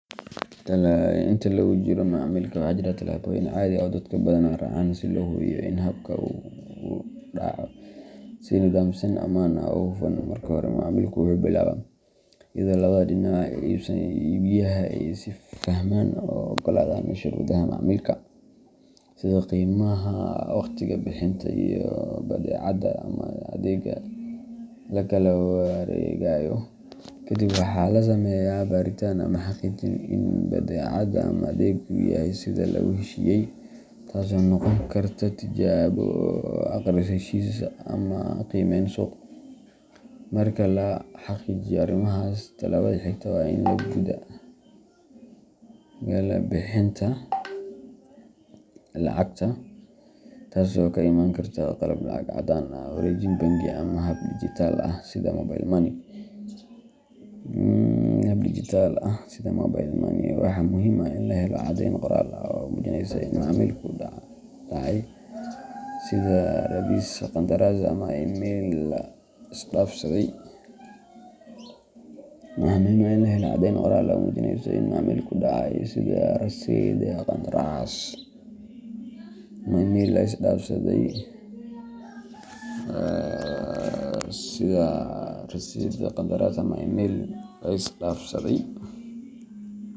Inta lagu jiro macaamilka, waxaa jira tallaabooyin caadi ah oo dadku badanaa raacaan si loo hubiyo in habka uu u dhaco si nidaamsan, ammaan ah, oo hufan. Marka hore, macaamilku wuxuu billaabmaa iyadoo labada dhinac iibsadaha iyo iibiyaha ay is fahmaan oo ay oggolaadaan shuruudaha macaamilka, sida qiimaha, waqtiga bixinta, iyo badeecada ama adeegga la kala wareegayo. Kadib, waxaa la sameeyaa baaritaan ama xaqiijin ah in badeecada ama adeeggu yahay sida lagu heshiiyay, taas oo noqon karta tijaabo, akhris heshiis ama qiimeyn suuq. Marka la xaqiijiyo arrimahaas, tallaabada xigta waa in la guda galaa bixinta lacagta, taas oo ku imaan karta qaab lacag caddaan ah, wareejin bangi, ama hab digitalka ah sida mobile money. Waxaa muhiim ah in la helo caddeyn qoraal ah oo muujinaysa in macaamilku dhacay, sida rasiidh, qandaraas, ama email la is dhaafsaday.